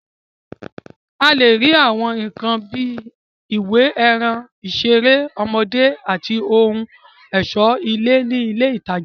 A lè rí Àwọn nǹkan bíi ìwé, ẹran, ìṣeré ọmọdé, àti ohun ọ̀ṣọ́ ilé ní ilé ìtajà